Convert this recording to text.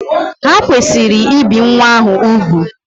Ha kwesịrị ibi nwa ahụ ugwù.